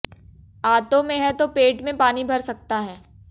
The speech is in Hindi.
आंतों में है तो पेट में पानी भर सकता है